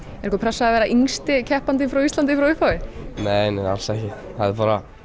einhver pressa að vera yngsti keppandinn frá Íslandi frá upphafi nei alls ekki það er bara